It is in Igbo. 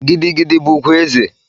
Gidi gidi bụ ugwu eze.